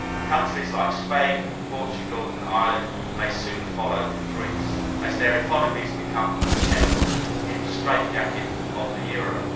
Countries like Spain, Portugal and Ireland may soon follow Greece as their economies become untenable in the straitjacket of the euro.